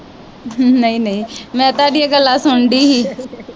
ਨਹੀਂ ਨਹੀਂ ਮੈ ਤੁਹਾਡੀਆਂ ਗੱਲਾਂ ਸੁਨਣ ਦੀ ਹੀ